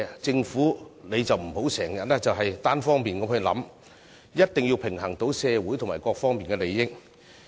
政府不要經常作單方面考慮，必須平衡社會各方面的利益。